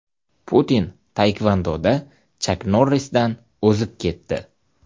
Putin taekvondoda Chak Norrisdan o‘zib ketdi.